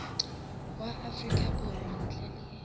wa afrika borwa ntle le